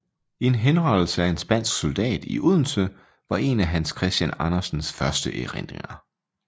En henrettelse af en spansk soldat i Odense var en af Hans Christian Andersens første erindringer